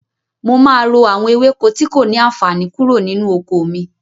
Mo máa ro àwọn ewéko tí kò ní àànfàní kúrò nínú oko mi.